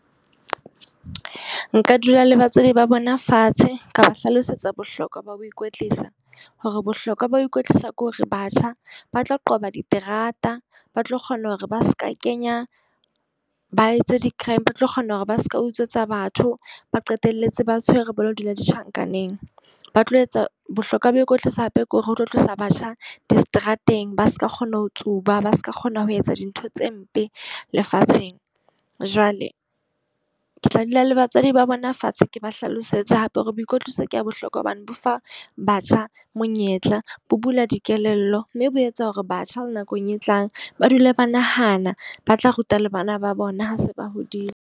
Nka dula le batswadi ba bona fatshe. Ka hlalosetsa bohlokwa ba ho ikwetlisa. Ho re bohlokwa ba ho ikwetlisa ke hore batjha ba tlo qoba diterata, ba tlo kgona hore ba seka kenya ba etse di-crime, ba tlo kgona hore ba seka utswetsa batho ba qetelletse ba tshwere ba lo dula di tjhankaneng. Ba tlo etsa bohlokwa ba ho ikwetlisa hape ke hore ho tlo tlosa batjha diseterateng ba seka kgona ho tsuba, ba seka kgona ho etsa dintho tse mpe lefatsheng. Jwale ke tla dula le batswadi ba bona fatshe ke ba hlalosetse hape hore boikotliso ke ya bohlokwa hobane bo fa batjha monyetla, bo bula dikelello. Mme bo etsa hore batjha le nakong e tlang ba dule ba nahana ba tla ruta le bana ba bona ha se ba hodile.